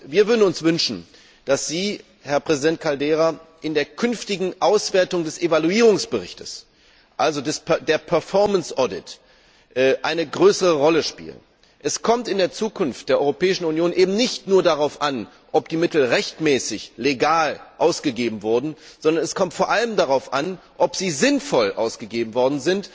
Wir würden uns wünschen, dass Sie, Herr Präsident Caldeira, bei der künftigen Auswertung des Evaluierungsberichts, also bei dem Performance Audit eine größere Rolle spielen. Es kommt in der Zukunft der Europäischen Union eben nicht nur darauf an, ob die Mittel rechtmäßig, legal ausgegeben wurden, sondern es kommt vor allem darauf an, dass sie sinnvoll ausgegeben werden,